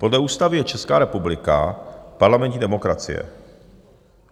Podle ústavy je Česká republika parlamentní demokracie.